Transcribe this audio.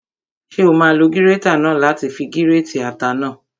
Ṣé o máa lo gírétà náà láti fi gírètì ata náà?